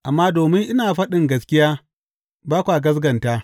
Amma domin ina faɗin gaskiya, ba kwa gaskata!